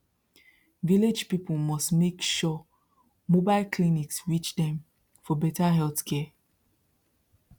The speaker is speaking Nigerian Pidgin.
village people must make sure mobile clinics reach dem for better healthcare